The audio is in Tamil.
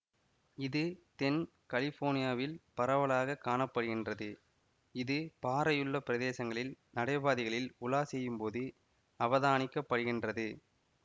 இது தென் கலிபோர்னியாவில் பரவலாக காண படுகின்றது இது பாறையுள்ள பிரதேசங்களில் நடைபாதைகளில் உலா செய்யும் போது அவதானிக்கப்படுகின்றது